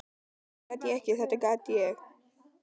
Þetta gat ég, þetta gat ég!